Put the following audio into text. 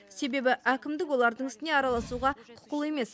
себебі әкімдік олардың ісіне араласуға құқылы емес